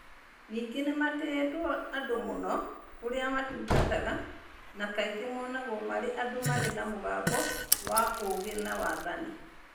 Ningĩ nĩ matĩĩtwo andũ mũno kũrĩa matungataga na kaingĩ monagwo marĩ andũ marĩ na mũgambo wa ũũgĩ na wathani.